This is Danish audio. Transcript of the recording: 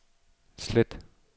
slet